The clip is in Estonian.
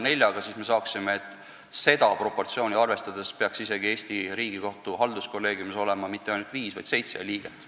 Jagame 28 neljaga ja saame, et Eesti Riigikohtu halduskolleegiumis ei peaks olema viis, vaid seitse liiget.